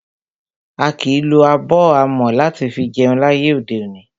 A kìí lo abọ́ amọ̀ láti fi jẹun láyé òde òní.